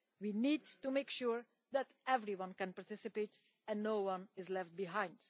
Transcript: We need to make sure that everyone can participate, and that no one is left behind.